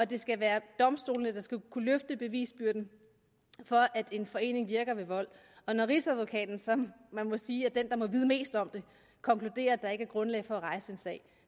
det skal være domstolene der skal kunne løfte bevisbyrden for at en forening virker ved vold og når rigsadvokaten som man må sige er den der må vide mest om det konkluderer at der ikke er grundlag for at rejse en sag